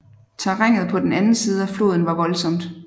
Terrænet på den anden side floden var voldsomt